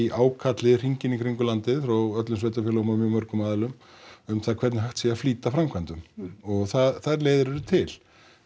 ákalli hringinn í kring um landið frá öllum sveitarfélögum og mjög mörgum aðilum um það hvernig hægt sér að flýta framkvæmdum og þær leiðir eru til